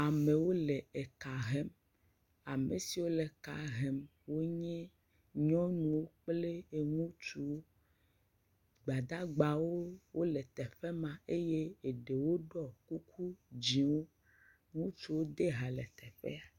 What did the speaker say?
Amewo le eka hem. Ame siwo le eka hem wonye nyɔnuwo kple ŋutsuwo. Gbadagbawo wole teƒe ma eye eɖewo ɖɔ kuku dziwo. Ŋutsu ɖe hã le teƒe ma.